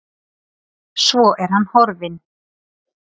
Svo er hann horfinn.